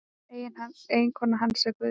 Eiginkona hans er Guðlaug